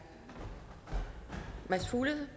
nogle